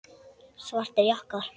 Svartir jakkar.